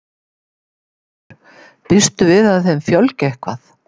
Haukur: Býstu við að þeim fjölgi eitthvað?